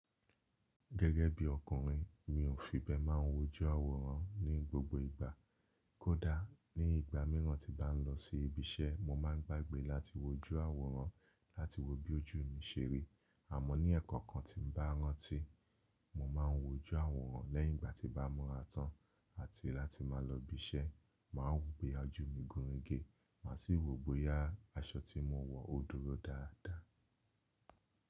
Gẹ́gẹ́ bí ọkùnrin, mi ò fi bẹ́ẹ̀ máa ń wojú àwòrán ní gbogbo ìgbà. Kódà ní ìgbà mìíràn tí bá ń lọ sí ibi iṣẹ́, mo má ń gbàgbé láti wojú àwòrán láti wo bí ojú mi ṣe rí. Àmọ́ ní ẹ̀ko kan tí ń bá rántí, mo máa ń wojú àwòrán lẹ́yìn ìgbà tí mọba mura tán láti máa lọ ibi iṣẹ́, màá ń wo bí ojú mi gún igi, màá sì wo bóyá aṣọ tí mo wọ ó dúró dáadáa.